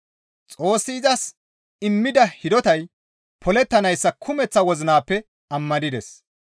Xoossi izas immida hidotay polettanayssa kumeththa wozinappe ammanides.